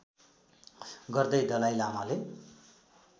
गर्दै दलाइ लामाले